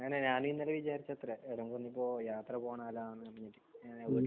ഞാനേ ഞാൻ ഇന്നലെ വിചാരിച്ചത്രേ എവിടെയെങ്കിലും ഒന്ന് പോ യാത്ര പോയാലോ എന്ന്. .